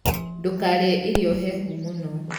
Ndũkarĩe irio hehu mũno.